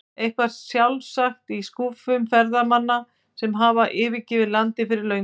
Eitthvað sjálfsagt í skúffum ferðamanna sem hafa yfirgefið landið fyrir löngu.